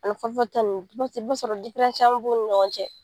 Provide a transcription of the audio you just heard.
A fɔfɛ ta nn i b'a sɔ i b'a sɔrɔ caman b'u ɲɔɔn cɛ.